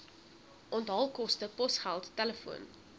onthaalkoste posgeld telefoon